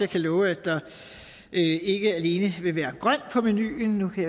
kan love at der ikke alene vil være grønt på menuen nu kan